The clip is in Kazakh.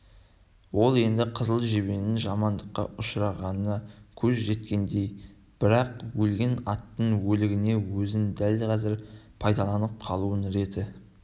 ол енді қызыл жебенің жамандыққа ұшырағанына көзі жеткендей бірақ өлген аттың өлігінің өзін дәл қазір пайдаланып қалудың реті